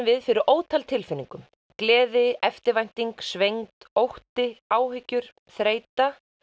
við fyrir ótal tilfinningum gleði eftirvænting svengd ótti áhyggjur þreyta